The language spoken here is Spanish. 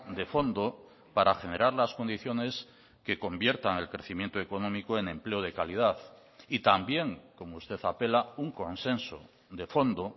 de fondo para generar las condiciones que conviertan el crecimiento económico en empleo de calidad y también como usted apela un consenso de fondo